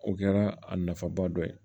O kɛra a nafaba dɔ ye